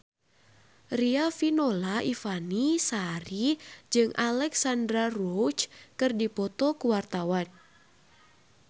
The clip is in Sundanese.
Riafinola Ifani Sari jeung Alexandra Roach keur dipoto ku wartawan